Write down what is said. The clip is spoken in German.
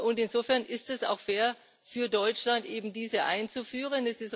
Und insofern ist es auch fair für Deutschland, eben diese einzuführen.